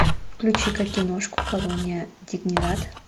включи ка киношку колония дигнидад